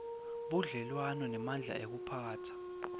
budlelwano bemandla ekuphatsa